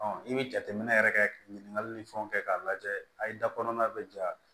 i bɛ jateminɛ yɛrɛ kɛ ka ɲininkali ni fɛnw kɛ k'a lajɛ a ye da kɔnɔna bɛ ja